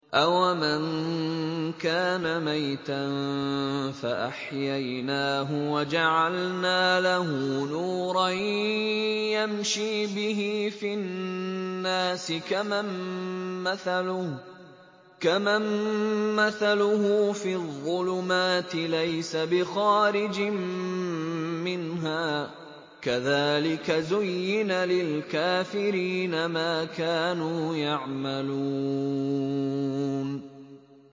أَوَمَن كَانَ مَيْتًا فَأَحْيَيْنَاهُ وَجَعَلْنَا لَهُ نُورًا يَمْشِي بِهِ فِي النَّاسِ كَمَن مَّثَلُهُ فِي الظُّلُمَاتِ لَيْسَ بِخَارِجٍ مِّنْهَا ۚ كَذَٰلِكَ زُيِّنَ لِلْكَافِرِينَ مَا كَانُوا يَعْمَلُونَ